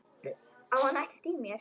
Á hann ekkert í mér?